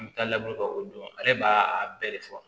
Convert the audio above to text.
An bɛ taa laburu ka o dɔn ale b'a bɛɛ de fɔ